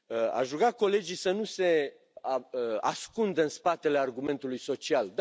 Aș ruga colegii să nu se ascundă în spatele argumentului social.